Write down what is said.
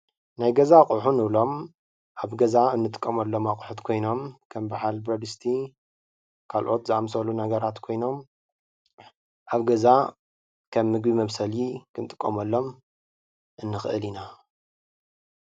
ናይ ገዛ ኣቑሑ ንብሎም ኣብ ገዛ እንጥቀመሎም ኣቑሑት ኮይኖም ከም ብዓል በረድስቲ ካልኦት ዝኣምሰሉ ነገራት ኮይኖም ኣብ ገዛ ከም ምግቢ መብሰሊ ክንጥቀመሎም እንኽእል ኢና።